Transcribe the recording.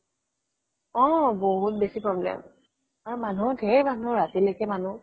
অ বহুত বেছি problem আৰু মানুহও ধেৰ মানুহ ৰাতিলৈকে মানুহ